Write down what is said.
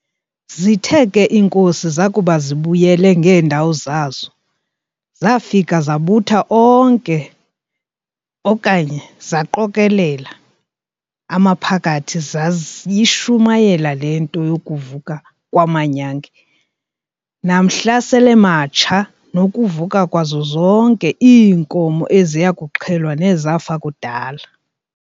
Zithe ke iinkosi zakuba zibuyele ngeendawo zazo, zafika zabutha okanye zaqokolela amaphakathi zayishumayela le nto yokuvuka "kwamanyange", namhla sel'ematsha, nokuvuka kwazo zonke iinkomo eziya kuxhelwa nezafa kudala.